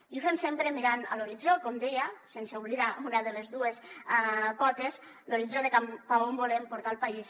i ho fem sempre mirant a l’horitzó com deia sense oblidar una de les dues potes l’horitzó de cap a on volem portar el país